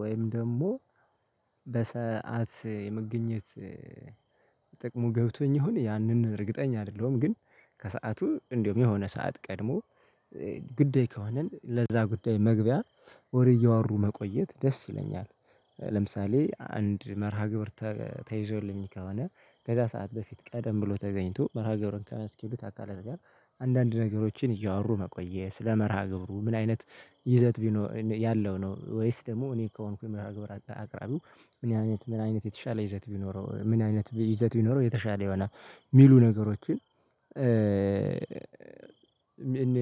ወይም ደግሞ በሰአት የመግኘት ጥቅሙ ገብቶኝ ይሁን ያንን እርግጠኛ አይደለሁም። ግን ከሰአቱ እንደውም የሆነ ሰዓት ቀድሞ። ጉዳይ ከሆንን ለዛ ጉዳይ መግቢያ ወሬ እያወሩ መቆየት ደስ ይለኛል። ለምሳሌ አንድ መርሃ ግብር ተይዞልኝ ከሆነ ከዛ ሰዓት በፊት ቀደም ብሎ ተገኝቶ መርሃ ግብርን ከሚያስኬዱት አካለ ጋር አንዳንድ ነገሮችን እያወሩ መቆየት ስለመርሃ ግብሩ ምን አይነት ይዘት ቢኖረ ያለው ነው ወይስ ደግሞ እኔ ከሆንኩኝ ምዕራፍ ግብር አቅራቢው ምን አይነት ምን አይነት የተሻለ ይዘት ቢኖረው ምን አይነት ይዘት ቢኖረው የተሻለ የሆነ ሚሉ ነገሮችን እ ምን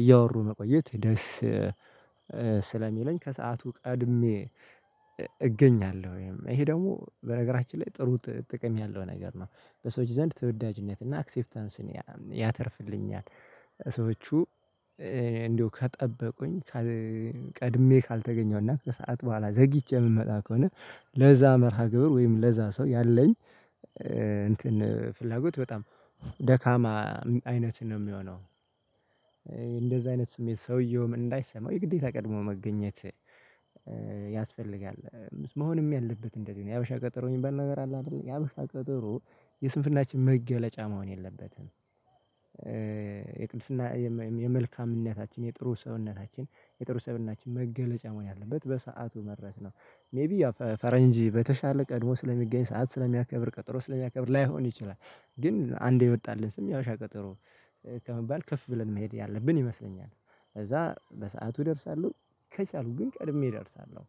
እያወሩ መቆየት ደስ? ስለሚለኝ ከሰአቱ ቀድሜ እገኛለሁ። ወይም ይሄ ደግሞ በነገራችን ላይ ጥሩ ጥቅም ያለው ነገር ነው። በሰዎች ዘንድ ተወዳጅነት እና አክሴፕታንስን ያተርፍልኛል። ሰዎች እንዴው ከጠበቁኝ ቀድሜ ካልተገኘሁና ከሰአት በኋላ ዘግይቼ እምመጣ ከሆነ ለዛ መርሃ ግብር ወይም ለዛ ሰው ያለኝ እንትን ፍላጎት በጣም ደካማ አይነትን ነው ሚሆነው። እንደዛ አይነት ስሜት ሰውየውም እንዳይሰማው የግዴታ ቀድሞ መገኘት ያስፈልጋል። መሆንም ያለበት እንደዚህ ነው የሀበሻ ቀጠሮኝ የሚባል ነገር አለ አይደል? የሀበሻ ቀጠሮ የስንፍናችን መገለጫ መሆን የለበትም። የቅድስና የመልካምነታችን የጥሩ ሰውነታችን የጥሩ ሰውነታችን መገለጫ መሆን ያለበት በሰአቱ መድረስ ነው። ሜይቢ ፈረንጅ በተሻለ ቀድሞ ስለሚገኝ ሰዓት ስለሚያከብር ቀጠሮ ስለሚያከብር ላይሆን ይችላል። ግን አንዴ የወጣለት ስም የሀበሻ ቀጠሮ። ከመባል ከፍ ብለን መሄድ ያለብን ይመስለኛል። ከዛ በሰአቱ እደርሳለሁ። ከቻሉ ግን ቀድሜ እደርሳለሁ።